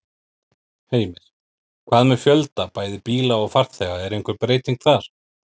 Heimir: Hvað með fjölda bæði bíla og farþega, er einhver breyting þar?